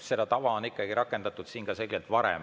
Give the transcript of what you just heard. Seda tava on ikkagi rakendatud siin ka varem.